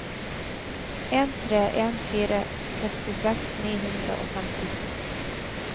en tre en fire sekstiseks ni hundre og femtito